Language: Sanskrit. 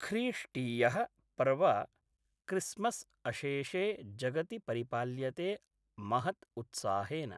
ख्रीष्टीय: पर्व क्रिसमस् अशेषे जगति परिपाल्यते महत् उत्साहेन।